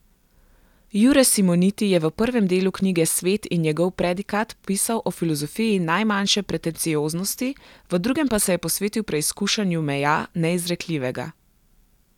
Jure Simoniti je v prvem delu knjige Svet in njegov predikat pisal o filozofiji najmanjše pretencioznosti, v drugem pa se je posvetil preizkušanju meja neizrekljivega.